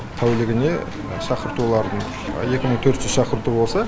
тәулігінде шақыртулардың екі мың төрт жүз шақырту болса